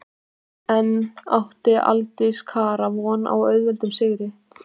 En átti Aldís Kara von á svo auðveldum sigri?